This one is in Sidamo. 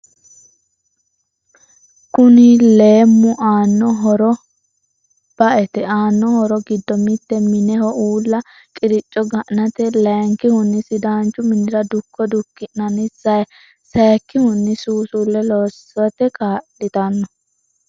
Kunni leemu aano horro ba'ete aano horro giddo mitte mineho uulla qirico ga'anate layikihuni sidaanchu minirra dukko duki'nanni sayiikihuni suusulle loosate kaalitano.